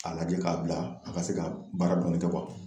A lajɛ k'a bila a ka se ka baara dɔɔnin kɛ